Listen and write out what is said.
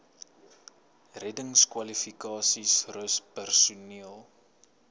reddingskwalifikasies rus personeel